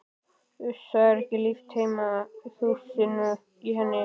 Uss, það er ekki líft heima fyrir þusinu í henni.